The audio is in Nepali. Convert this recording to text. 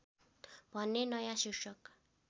भन्ने नयाँ शीर्षक